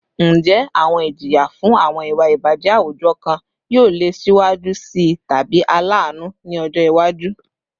Njẹ awọn ijiya fun awọn iwa ibajẹ awujọ kan yoo le siwaju sii tabi alaanu ni ọjọ iwaju?